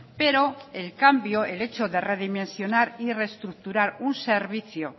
pero el cambio el hecho de redimensionar y reestructurar un servicio